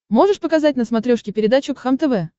можешь показать на смотрешке передачу кхлм тв